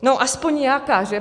No aspoň nějaká, že?